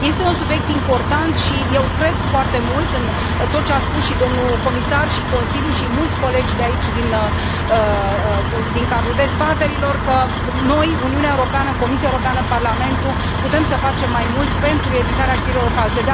Este un subiect important și eu cred foarte mult în tot ce a spus și domnul comisar și Consiliul și mulți colegi de aici din cadrul dezbaterilor că noi, Uniunea Europeană, Comisia Europeană, Parlamentul putem să facem mai mult pentru evitarea știrilor false.